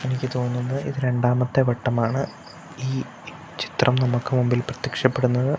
എനിക്ക് തോന്നുന്നു ഇത് രണ്ടാമത്തെ വട്ടമാണ് ഈ ചിത്രം നമുക്ക് മുമ്പിൽ പ്രത്യക്ഷപ്പെടുന്നത്.